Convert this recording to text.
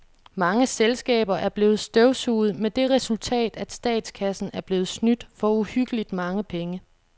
Mange selskaber er blevet støvsuget med det resultat, at statskassen er blevet snydt for uhyggeligt mange penge.